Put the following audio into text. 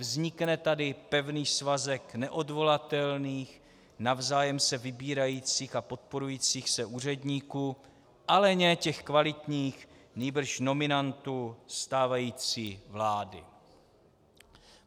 Vznikne tady pevný svazek neodvolatelných, navzájem se vybírajících a podporujících se úředníků, ale ne těch kvalitních, nýbrž nominantů stávající vlády.